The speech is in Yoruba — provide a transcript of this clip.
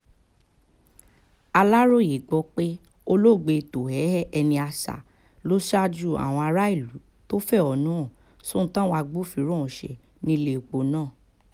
aláròye gbọ́ pé olóògbé tohéé énìáṣà ló ṣáájú àwọn aráàlú tó fẹ̀hónú hàn sóhun táwọn agbófinró ohùn ṣe nílẹ̀pọ̀ náà